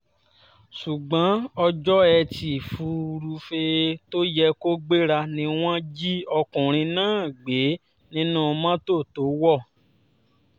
ṣùgbọ́n ọjọ́ etí furuufee tó yẹ kó gbéra ni wọ́n jí ọkùnrin náà gbé nínú mọ́tò tó wọ̀